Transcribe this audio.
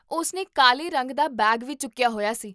ਉਸ ਨੇ ਕਾਲੇ ਰੰਗ ਦਾ ਬੈਗ ਵੀ ਚੁੱਕਿਆ ਹੋਇਆ ਸੀ